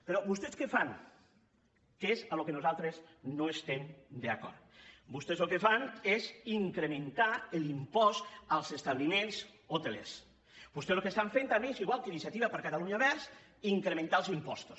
però vostès què fan que és en el que nosaltres no estem d’acord vostès el que fan és incrementar l’impost als establiments hotelers vostès el que estan fent també és igual que iniciativa per catalunya verds incrementar els impostos